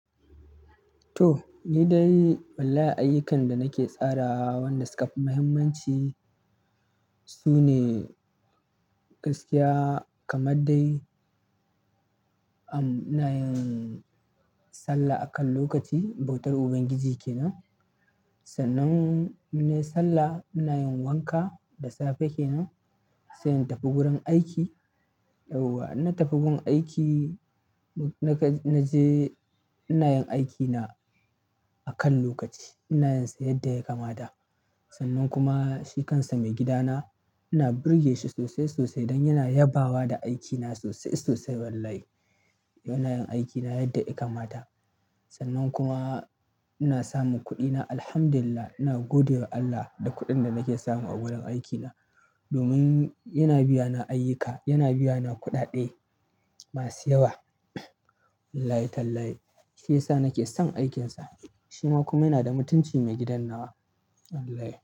To, ni dai wallahi ayyukan da nake tsara wanda suka fi mahimmanci sune gaskiya kamar dai ina yin sallah akan lokaci bautar Ubangiji kenan. Sannan in nayi sallah ina yin wanka da safe kenan sai in tafi gurin aiki. Yauwa in na tafi gun aiki naje ina yin aikina akan lokaci. Ina yin su yadda ya kamata. Sannan kuma shi kansa maigidana ina burge shi sosai sosai don yana yabawa da aikina sosai sosai wallahi. Don ina yin aikina yadda ya kamata. Sannan kuma ina samun kuɗina. Alhamdulillah. Ina godewa Allah da kuɗin da nake samu a gurin aikina domin yana biyana ayyuka, yana biyana kuɗaɗe masu yawa. Wallahi tallahi shiyasa nake son aikinsa. Shi ma kuma yana da mutunci mai gidan nawa wallahi.